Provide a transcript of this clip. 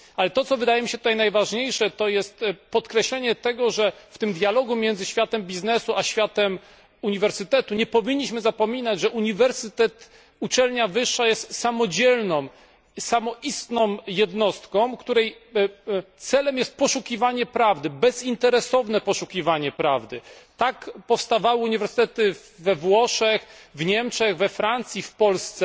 Ale to, co wydaje mi się tutaj najważniejsze, to jest podkreślenie, że w tym dialogu między światem biznesu a światem uniwersytetu, nie powinniśmy zapominać, że uniwersytet uczelnia wyższa jest samodzielną samoistną jednostką, której celem jest poszukiwanie prawdy, bezinteresowne poszukiwanie prawdy. Tak powstawały uniwersytety we Włoszech, w Niemczech, we Francji, w Polsce